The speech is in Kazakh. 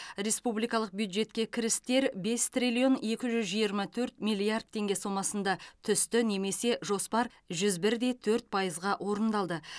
республикалық бюджетке кірістер бес триллион екі жүз жиырма төрт миллиард теңге сомасында түсті немесе жоспар жүз бір де төрт пайызға орындалды